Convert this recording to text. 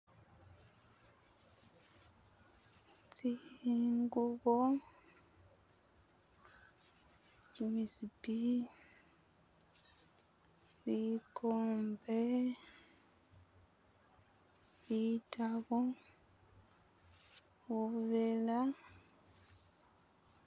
Tsingubo kimisipi bikombe bitabo, buvela.